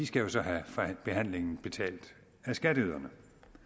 skal jo så have behandlingen betalt af skatteyderne